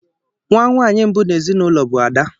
Nwa nwaanyị mbụ n'ezinụlọ bụ Ada.